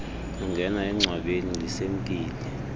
kungena engcwabeni lisemkile